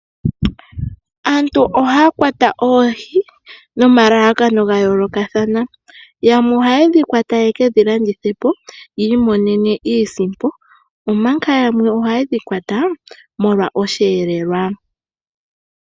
Aantu ohaya kwata oohi nomalalakano ga yoolokathana yamwe oha yedhi kwata ya kalandithe ya mone iisimpo omanga yanwe oha yedhi kwata molwa osheelelwa.